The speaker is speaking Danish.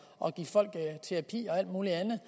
og give folk terapi og alt muligt andet